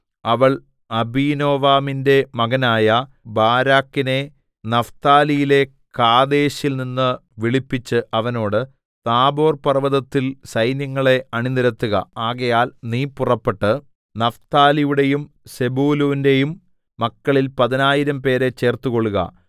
അവൾ അബീനോവാമിന്റെ മകനായ ബാരാക്കിനെ നഫ്താലിയിലെ കാദേശിൽ നിന്ന് വിളിപ്പിച്ച് അവനോട് താബോർപർവ്വതത്തിൽ സൈന്യങ്ങളെ അണിനിരത്തുക ആകയാൽ നീ പുറപ്പെട്ട് നഫ്താലിയുടെയും സെബൂലൂന്റെയും മക്കളിൽ പതിനായിരംപേരെ ചേർത്തുകൊള്ളുക